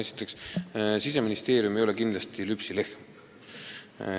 Esiteks, Siseministeerium ei ole kindlasti lüpsilehm.